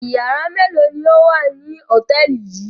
Ìyàrá mélòó ni ó wà ní hòtẹ́ẹ́lì yìí?